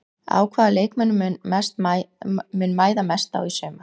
Á hvaða leikmönnum mun mæða mest á í sumar?